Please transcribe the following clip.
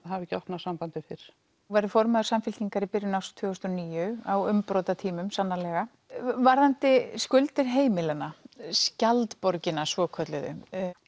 hafa ekki opnað sambandið fyrr þú verður formaður Samfylkingar í byrjun árs tvö þúsund og níu á umbrotatímum sannarlega varðandi skuldir heimilanna skjaldborgina svokölluðu